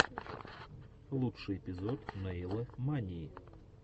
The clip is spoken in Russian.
лучший эпизод нэйла мании